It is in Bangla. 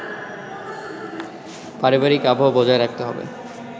পারিবারিক আবহ বজায় রাখতে হবে